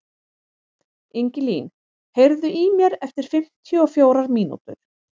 Ingilín, heyrðu í mér eftir fimmtíu og fjórar mínútur.